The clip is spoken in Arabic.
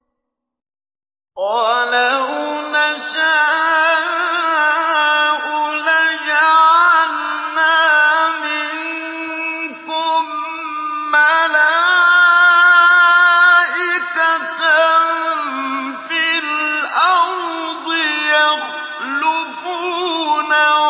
وَلَوْ نَشَاءُ لَجَعَلْنَا مِنكُم مَّلَائِكَةً فِي الْأَرْضِ يَخْلُفُونَ